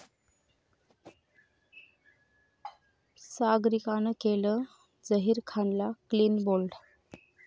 सागरिकानं केलं झहीर खानला clean bold